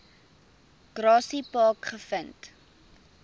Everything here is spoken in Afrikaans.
grassy park gevind